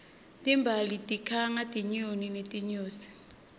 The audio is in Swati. timbali tikhanga tinyoni netinyosi